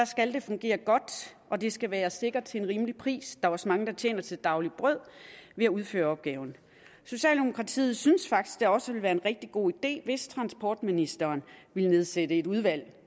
skal fungere godt og det skal være sikkert til en rimelig pris er også mange der tjener til det daglige brød ved at udføre opgaven socialdemokratiet synes faktisk at det også ville være en rigtig god idé hvis transportministeren nedsatte et udvalg